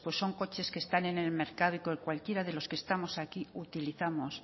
pues son coches que están en el mercado y que cualquiera de los que estamos aquí utilizamos